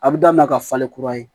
A bɛ daminɛ ka falen kura ye